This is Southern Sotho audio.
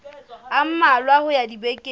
a mmalwa ho ya dibekeng